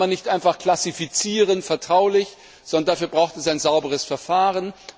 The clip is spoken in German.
Man kann nicht einfach klassifizieren vertraulich, sondern dafür braucht es ein sauberes Verfahren.